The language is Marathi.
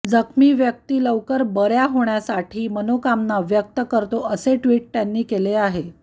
जखमी व्यक्ती लवकर बऱ्या होण्यासाठी मनोकामना व्यक्त करतो असे ट्विट त्यांनी केले आहे